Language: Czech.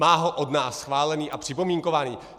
Má ho od nás schválený a připomínkovaný.